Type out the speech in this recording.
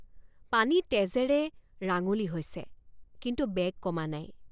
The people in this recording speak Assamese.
পানী তেজেৰে ৰাঙলী হৈছে কিন্তু বেগ কমা নাই।